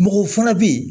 Mɔgɔw fana bɛ yen